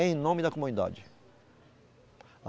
Em nome da comunidade.